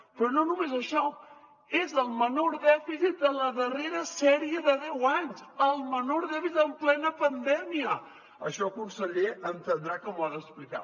però no només això és el menor dèficit de la darrera sèrie de deu anys el menor dèficit en plena pandèmia això conseller ha d’entendre que m’ho ha d’explicar